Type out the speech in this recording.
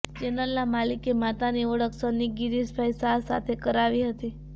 ચેનલના માલિકે માતાની ઓળખ સન્ની ગિરીશભાઈ શાહ સાથે કરાવી હતી